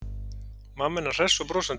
Mamma hennar hress og brosandi.